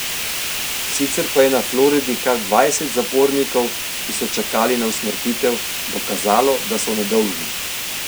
Sicer pa je na Floridi kar dvajset zapornikov, ki so čakali na usmrtitev, dokazalo, da so nedolžni.